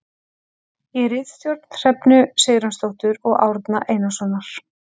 Í ritstjórn Hrefnu Sigurjónsdóttur og Árna Einarssonar.